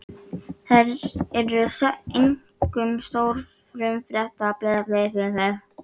Hersir: Ef þú værir einráður, mynduð þið bjóða fram?